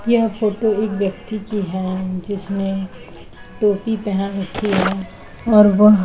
यह फोटो एक व्यक्ति की है जिसने टोपी पहन रखी है और वह --